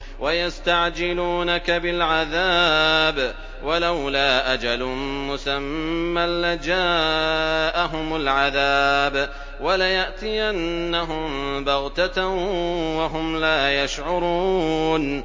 وَيَسْتَعْجِلُونَكَ بِالْعَذَابِ ۚ وَلَوْلَا أَجَلٌ مُّسَمًّى لَّجَاءَهُمُ الْعَذَابُ وَلَيَأْتِيَنَّهُم بَغْتَةً وَهُمْ لَا يَشْعُرُونَ